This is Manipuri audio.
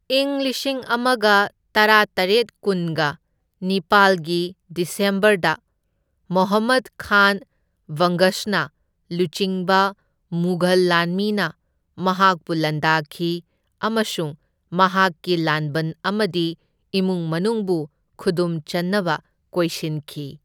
ꯏꯪ ꯂꯤꯁꯤꯡ ꯑꯃꯒ ꯇꯔꯥꯇꯔꯦꯠ ꯀꯨꯟꯒ ꯅꯤꯄꯥꯜꯒꯤ ꯗꯤꯁꯦꯝꯕꯔꯗ ꯃꯣꯍꯃꯗ ꯈꯥꯟ ꯕꯪꯒꯁꯅ ꯂꯨꯆꯤꯡꯕ ꯃꯨꯘꯜ ꯂꯥꯟꯃꯤꯅ ꯃꯍꯥꯛꯄꯨ ꯂꯥꯟꯗꯥꯈꯤ ꯑꯃꯁꯨꯡ ꯃꯍꯥꯛꯀꯤ ꯂꯥꯟꯕꯟ ꯑꯃꯗꯤ ꯏꯃꯨꯡ ꯃꯅꯨꯡꯕꯨ ꯈꯨꯗꯨꯝꯆꯟꯅꯕ ꯀꯣꯏꯁꯟꯈꯤ꯫